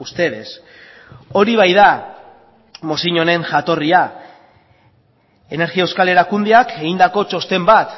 ustedes hori baita mozio honen jatorria energia euskal erakundeak egindako txosten bat